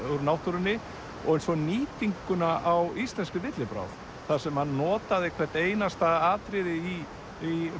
úr náttúrunni og svo nýtinguna á íslenskri villibráð þar sem hann notaði hvert einasta atriði í í